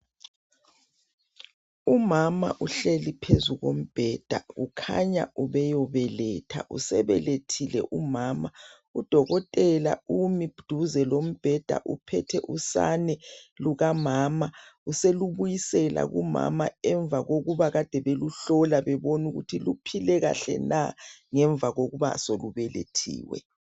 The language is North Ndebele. Umama uhleli phezu kombheda kukhanya ubeyobeletha. Usebelethile umama udokotela umi duze lombheda uphethe usane lukamama. Uselubisela kumama emva kokuba ade beluhlola bebona ukuthi luphile kahle na ngemva kokuba selubelethiwe.